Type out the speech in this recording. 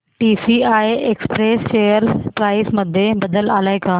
TCI express share price मध्ये बदल आलाय का